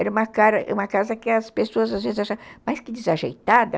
Era uma casa que as pessoas às vezes achavam mais que desajeitada.